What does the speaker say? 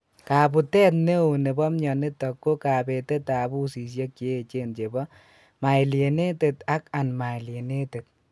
Kabutet neo nebo myonitok ko kabete ab usisiek cheyechen chebo myelinated ak unmyelinated